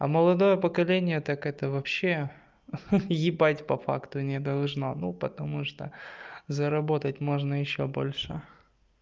а молодое поколение так это вообще ха-ха ебать по факту не должно ну потому что заработать можно ещё больше